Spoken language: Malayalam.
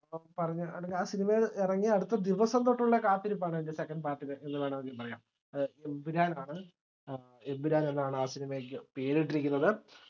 പറഞ്ഞ അല്ലെങ്കില് ആ cinema ഇറങ്ങിയ അടുത്ത ദിവസംതൊട്ടുള്ള കാത്തിരിപ്പാണ് അതിന്റെ second part ന് എന്നുവേണമെങ്കില് പറയാം ഏർ എമ്പുരാൻ ആണ് ഏർ എമ്പുരാൻ എന്നാണ് ആ cinema ക്ക് പേരിട്ടിരിക്കുന്നത്.